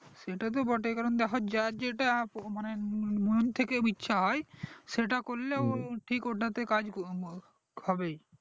সেটা তো বটেই যার যেটা মানে মন থেকে ইচ্ছে হয় সেটা করলেও ঠিক ওটাতে কাজ হবেই